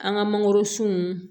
An ka mangoro sun